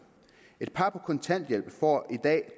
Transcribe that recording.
et par på kontanthjælp får i dag